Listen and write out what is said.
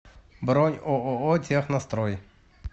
бронь ооо технострой